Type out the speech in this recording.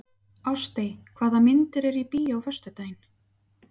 Ástey, hvaða myndir eru í bíó á föstudaginn?